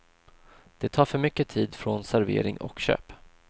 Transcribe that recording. Det tar för mycket tid från servering och köp.